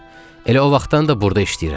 Elə o vaxtdan da burda işləyirəm.